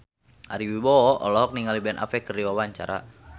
Ari Wibowo olohok ningali Ben Affleck keur diwawancara